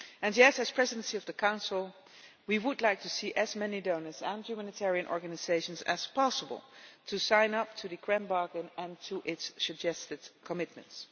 As the Presidency of the Council, we would like to see as many donors and humanitarian organisations as possible sign up to the Grand Bargain and to its suggested commitments.